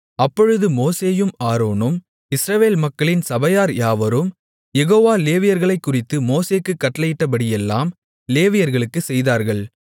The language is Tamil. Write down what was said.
அப்பொழுது மோசேயும் ஆரோனும் இஸ்ரவேல் மக்களின் சபையார் யாவரும் யெகோவா லேவியர்களைக்குறித்து மோசேக்குக் கட்டளையிட்டபடியெல்லாம் லேவியர்களுக்குச் செய்தார்கள்